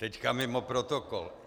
Teď mimo protokol.